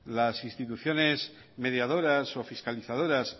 las instituciones mediadoras o fiscalizadoras